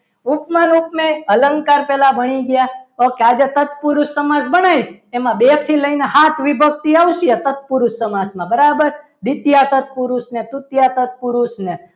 ઉપમાન ઉપમેય અલંકાર પહેલાં ભણી ગયા ઓકે આજે તત્પુરુષ સમાજ બન્યો એમાં બે થી લઈને સાત વિભક્તિ આવતી તત્પુરુષ સમાસમાં બરાબર દ્વિતીય તત્પુરુષને તત્પુરુષને